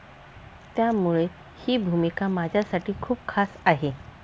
त्यामूळे ही भूमिका माझ्यासाठी खूप खास आहे.